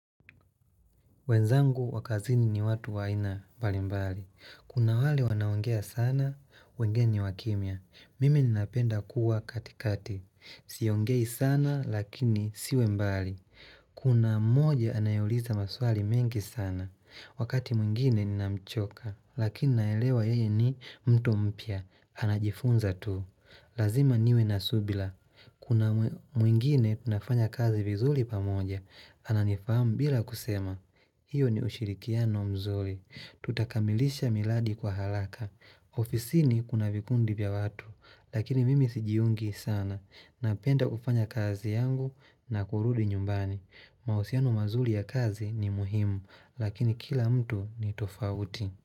Wenzangu wakazini ni watu waina mbali mbali. Kuna wale wanaongea sana, wengine ni wakimya. Mimi ninapenda kuwa katikati. Siongei sana lakini siwe mbali. Kuna moja anayouliza maswali mengi sana. Wakati mwingine ninamchoka. Lakini naelewa yeye ni mtu mpya. Anajifunza tu. Lazima niwe nasubila. Kuna mwingine tunafanya kazi vizuri pamoja. Ananifahamu bila kusema. Iyo ni ushirikiano mzuri. Tutakamilisha miladi kwa halaka. Ofisi ni kuna vikundi vya watu. Lakini mimi sijiungi sana. Napenda kufanya kazi yangu na kurudi nyumbani. Mahusiano mazuri ya kazi ni muhimu. Lakini kila mtu ni tofauti.